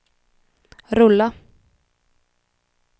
rulla